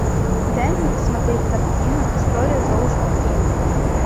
дай мне посмотреть картину история золушки три